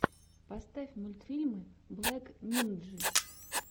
поставь мультфильмы блэк нинджи